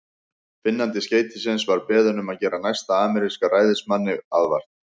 Finnandi skeytisins var beðinn um að gera næsta ameríska ræðismanni aðvart.